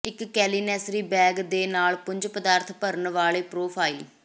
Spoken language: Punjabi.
ਇੱਕ ਕਲੀਨੈਸਰੀ ਬੈਗ ਦੇ ਨਾਲ ਪੁੰਜ ਪਦਾਰਥ ਭਰਨ ਵਾਲੇ ਪਰੋਫਾਈਲ